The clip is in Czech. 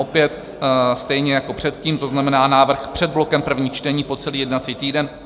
Opět stejně jako předtím, to znamená návrh před blokem prvních čtení, po celý jednací týden.